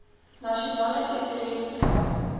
nasionale tesourie beskou